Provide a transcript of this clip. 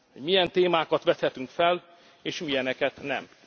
nem. Milyen témákat vethetünk fel és milyeneket